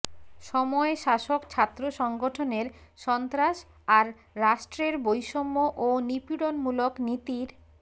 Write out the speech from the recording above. সময় শাসক ছাত্র সংগঠনের সন্ত্রাস আর রাষ্ট্রের বৈষম্য ও নিপীড়নমূলক নীতির